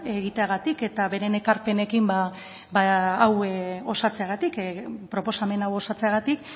egiteagatik eta beren ekarpenekin hau osatzeagatik proposamen hau osatzeagatik